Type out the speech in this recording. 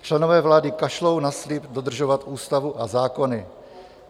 Členové vlády kašlou na slib dodržovat ústavu a zákony.